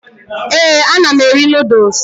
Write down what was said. Ee, ana m eri noodles.